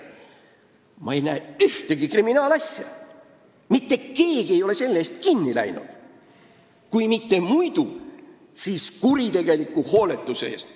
Ma ei näe ühtegi kriminaalasja, mitte keegi ei ole selle eest kinni läinud – kui mitte muu, siis kuritegeliku hooletuse eest.